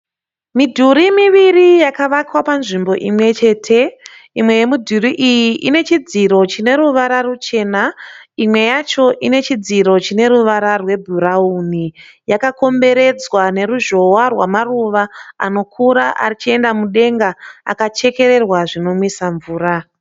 Midhuri miviri yakavakwa panzvimbo imwe chete. Imwe yemidhuri iyi ine chidziro chine ruvara ruchena. Imwe yacho ine chidziro chine ruvara rwebhurauni. Yakakomberedzwa neruzhowa rwamaruva anokura achienda mudenga akachekererwa zvinomwisa mvura.